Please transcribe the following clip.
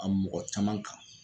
A mɔgɔ caman kan